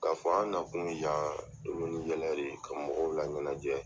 K'a fɔ an nakun ye yan kolon ni yɛlɛ le, ka mɔgɔw laɲɛnajɛ